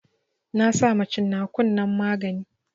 Na sama cin nakun nan magani